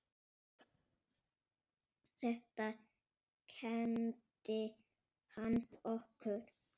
Þetta kenndi hann okkur.